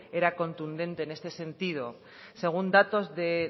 era contundente en este sentido según datos de